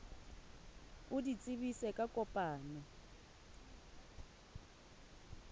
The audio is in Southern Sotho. o di tsebise ka kopano